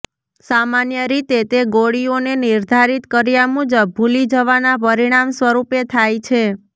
સામાન્ય રીતે તે ગોળીઓને નિર્ધારિત કર્યા મુજબ ભૂલી જવાના પરિણામ સ્વરૂપે થાય છે